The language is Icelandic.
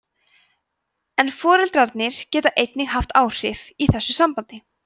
en foreldrarnir geta einnig haft áhrif í þessu sambandi